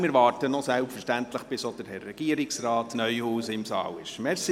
Wir warten selbstverständlich noch, bis auch Regierungsrat Neuhaus im Saal ist.